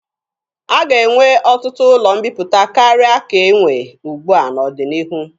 A ga-enwe ọtụtụ ụlọ mbiputa karịa ka e nwe ugbua n'ọdịnihu.